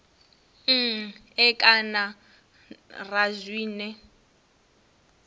n e kana ra zwine